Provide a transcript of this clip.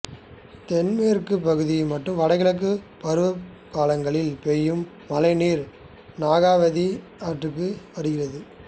தென்மேற்கு மற்றும் வடகிழக்கு பருவகாலங்களில் பெய்யும் மழைநீர் நாகாவதி ஆற்றுக்கு வருகிறது